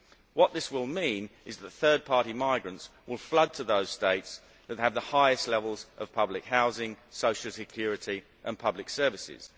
What this will mean is that third party migrants will flood to those states that have the highest levels of public housing, social security and public services.